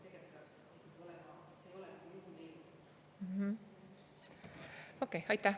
Okei, aitäh!